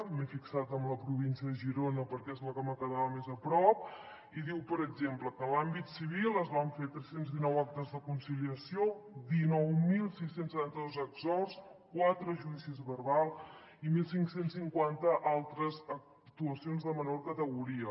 m’he fixat en la província de girona perquè és la que em quedava més a prop i diu per exemple que en l’àmbit civil es van fer tres cents i dinou actes de conciliació dinou mil sis cents i setanta dos exhorts quatre judicis verbals i quinze cinquanta altres actuacions de menor categoria